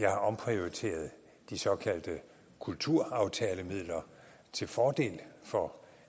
jeg har omprioriteret de såkaldte kulturaftalemidler til fordel for